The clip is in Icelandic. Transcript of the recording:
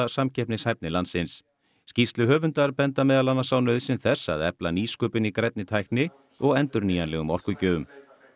samkeppnishæfni landsins skýrsluhöfundar benda meðal annars á nauðsyn þess að efla nýsköpun í grænni tækni og endurnýjanlegum orkugjöfum